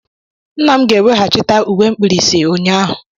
Nna' m ga-eweghachite uwe mkpirisi ụnyahụ